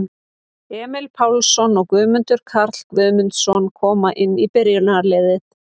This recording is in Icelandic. Emil Pálsson og Guðmundur Karl Guðmundsson koma inn í byrjunarliðið.